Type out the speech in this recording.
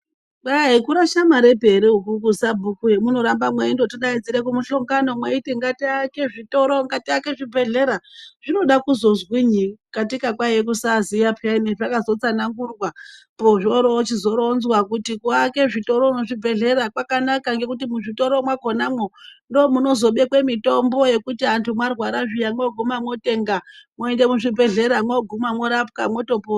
Kwai aikurasha maripi ukuku sabhuku hamunaramba mwengoiti daidzire kumuhlongano mweiti ngatiake zvitoro, ngatiake zvibhedhlera zvinoda kuzozwinyi katika kwaiye kusaziya peyani zvakazotsanangurwa pozvorochizoronzwa kuti kuake zvitoro nezvibhedhlera kwakanaka ngekuti muzvitoro mwakonamwo ndomunozobekwe mitombo yekuti antu marwara zviya mwoguma mwotenga ,mwoende kuzvibhedhlera mwoguma mworapwa mwotopora.